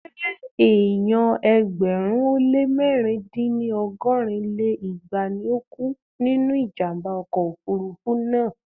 Ṣé èèyàn ẹgbẹ̀rún ó lé mẹ̀rin dín ní ọgọ́rin lé igba ni ó kú nínú ìjàmbá ọkọ̀ òfurufú náà?